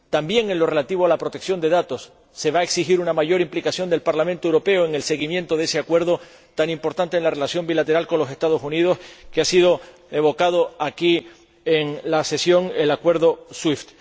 También en lo relativo a la protección de datos se va a exigir una mayor implicación del Parlamento Europeo en el seguimiento de ese acuerdo tan importante en la relación bilateral con los Estados Unidos que ha sido evocado aquí en la sesión, el Acuerdo Swift.